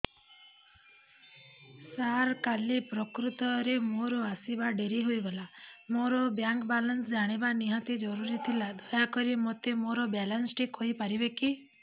ସାର କାଲି ପ୍ରକୃତରେ ମୋର ଆସିବା ଡେରି ହେଇଗଲା ମୋର ବ୍ୟାଙ୍କ ବାଲାନ୍ସ ଜାଣିବା ନିହାତି ଜରୁରୀ ଥିଲା ଦୟାକରି ମୋତେ ମୋର ବାଲାନ୍ସ ଟି କହିପାରିବେକି